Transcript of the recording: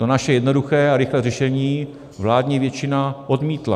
To naše jednoduché a rychlé řešení vládní většina odmítla.